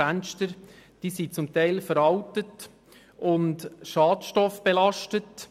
Die Fenster sind zum Teil veraltet und schadstoffbelastet.